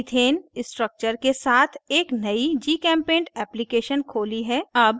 मैंने ethane structure के साथ एक नयी gchempaint application खोली है